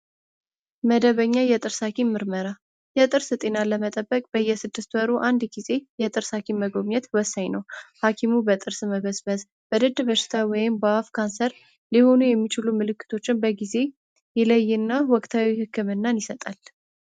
መደበኛ የጥርስ ሐኪም ምርመራ የጥርስ ጤናን ለመጠበቅ በየስድስት ወሩ 1 ጊዜ የጥርስ ሀኪም መጎብኘት ወሳኝ ነው። ሐኪሙ በጥርስ መበስበስ በድድ በሽታ ወይም በአፍ ካንሰር ሊሆኑ የሚችሉ ምልክቶችን በጊዜ ይለይና ወቅታዊ ህክምናን ይሰጣል።